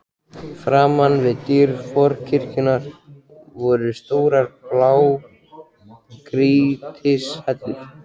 Framan við dyr forkirkjunnar voru stórar blágrýtishellur.